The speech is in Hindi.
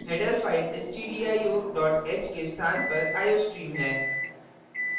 header file stdio h के स्थान पर iostream है